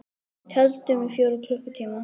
Við tefldum í fjóra klukkutíma!